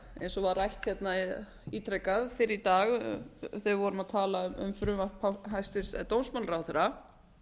eins og var rætt ítrekað fyrr í dag þegar við vorum að tala um frumvarp hæstvirts dómsmálaráðherra